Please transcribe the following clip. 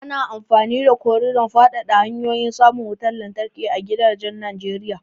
Ana amfani da abun ƙaridon fadada hanyoyin samun wutar lantarki a gidajen Najeriya.